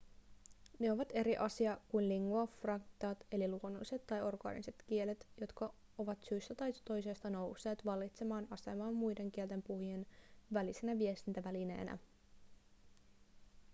ne ovat eri asia kuin lingua francat eli luonnolliset tai orgaaniset kielet jotka ovat syystä tai toisesta nousseet vallitsevaan asemaan muiden kielten puhujien välisenä viestintävälineenä